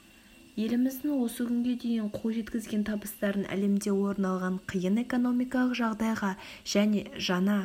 еліміздің осы күнге дейін қол жеткізген табыстарын әлемде орын алған қиын экономикалық жағдайға және жаңа